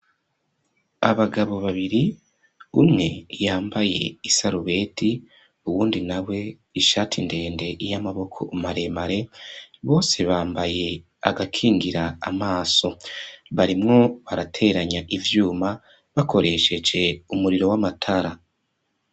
Abagabo babiri, umwe yambaye isarubeti uwundi na we ishati ndende y'amaboko maremare bose bambaye agakingira amaso. Barimwo barateranya ivyuma bakoresheje umuriro w'amatara.